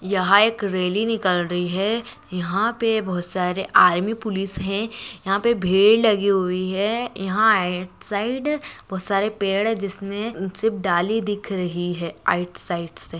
यहां एक रैली निकाल रही है यहां पर बहुत सारे आर्मी पुलिस है यहां पर भेद लगी हुई है यहां राइट साइड बहुत सारे पेड़ है जिसमें सिर्फ डाली दिख रही है राइट साइड से--